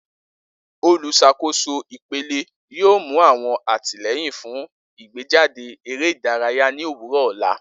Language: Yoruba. Oluṣakoso ipele yoo mu awọn atilẹyin fun igbejade ere idaraya ni owurọ ọla.